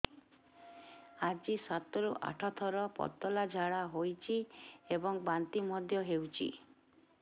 ଆଜି ସାତରୁ ଆଠ ଥର ପତଳା ଝାଡ଼ା ହୋଇଛି ଏବଂ ବାନ୍ତି ମଧ୍ୟ ହେଇଛି